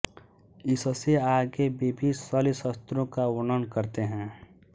इससे आगे विविध शल्यशस्त्रों का वर्णन करते हैं